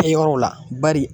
Kɛyɔrɔw la bari